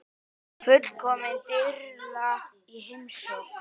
Fullkomin þyrla í heimsókn